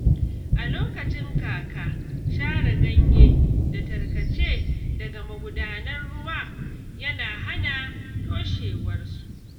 A lokacin kaka, share ganye da tarkace daga magudanan ruwa yana hana toshewarsu.